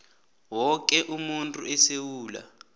woke umuntu esewula